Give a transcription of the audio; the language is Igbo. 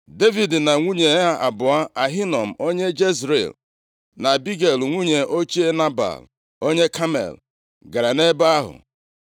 Devid na nwunye ya abụọ, Ahinoam onye Jezril, na Abigel nwunye ochie Nebal onye Kamel gara nʼebe ahụ.